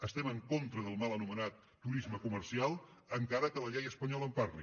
estem en contra del mal anomenat turisme comercial encara que la llei espanyola en parli